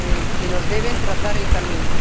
que nos deben trazar el camino.